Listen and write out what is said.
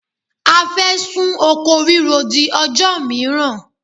A fẹ́ sún oko ríro di ọjọ́ mìíràn.